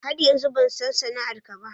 Har yanzu ban san sana'ar ka ba.